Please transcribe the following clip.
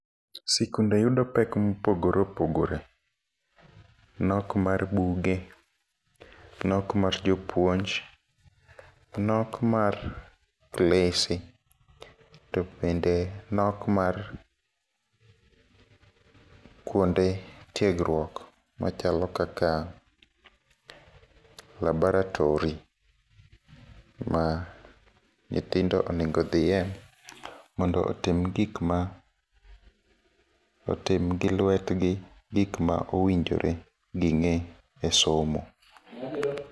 Sikunde yudo pek mopogore opogore, nok mar buge , nok mar jpuonj , nok mar klese to bende nok mar kuonde tiegruok machalo kaka laboratory ma nyithindo onego dhiye, mondo otim gik ma otim gi lwetgi gik ma owinjore ging'e e somo.